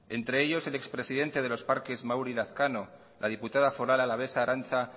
entre ellos el ex presidente de los parques mauri lazkano la diputada foral alavesa arantza